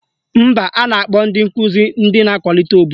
Mba, a na-akpọ ndị nkụzi ndị na-akwalite obodo